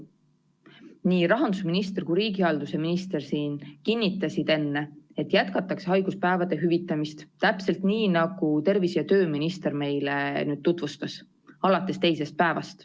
Nii rahandusminister kui ka riigihalduse minister kinnitasid enne, et jätkatakse haiguspäevade hüvitamist täpselt nii, nagu tervise- ja tööminister meile tutvustas, alates teisest päevast.